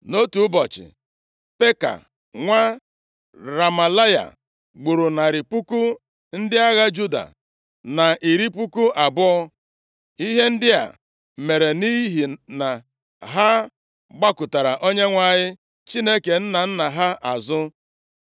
Nʼotu ụbọchị, Peka nwa Remalaya gburu narị puku ndị agha Juda na iri puku abụọ. Ihe ndị a mere nʼihi na ha gbakụtara Onyenwe anyị Chineke nna nna ha azụ.